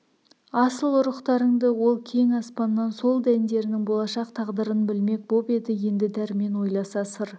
асыл ұрықтарыңды ол кең аспаннан сол дәндерінің болашақ тағдырын білмек боп еді енді дәрмен ойласа сыр